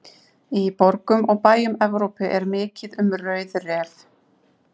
Í borgum og bæjum Evrópu er mikið um rauðrefi.